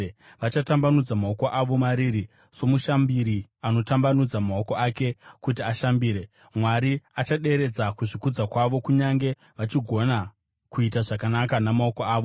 Vachatambanudza maoko avo mariri, somushambiri anotambanudza maoko ake kuti ashambire. Mwari achaderedza kuzvikudza kwavo, kunyange vachigona kuita zvakanaka namaoko avo,